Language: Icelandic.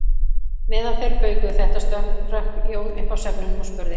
Meðan þeir baukuðu þetta hrökk Jón upp af svefninum og spurði